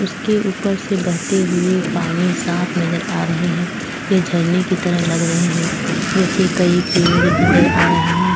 उसके ऊपर से बहते हुए पानी साफ नजर आ रहे हैं ये झरने की तरह लग रहे हैं नीचे कई पेड़ नजर आ रहे हैं।